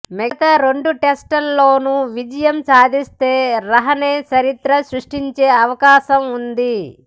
మిగతా రెండు టెస్టుల్లోనూ విజయం సాధిస్తే రహానె చరిత్ర సృష్టించే అవకాశం ఉంది